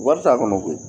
Wari t'a kɔnɔ koyi